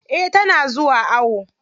Eh tana zuwa awo.